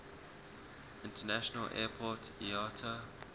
international airport iata